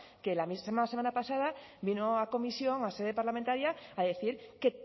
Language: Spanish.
que la misma semana pasada vino a comisión a sede parlamentaria a decir que